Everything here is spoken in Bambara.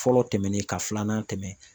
Fɔlɔ tɛmɛnen ka filanan tɛmɛ.